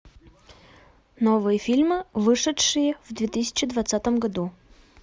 новые фильмы вышедшие в две тысячи двадцатом году